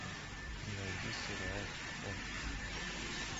найди сериал хор